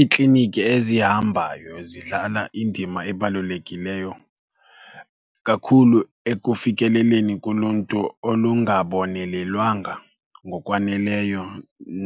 Iikliniki ezihambayo zidlala indima ebalulekileyo kakhulu ekufikeleleni kuluntu olungabonelelwanga ngokwaneleyo